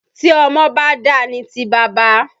Tí ọmọ ba dà ni ti baba.